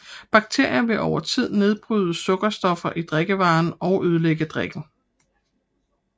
Bakterierne vil over tid nedbryde sukkerstoffet i drikkevaren og ødelægge drikken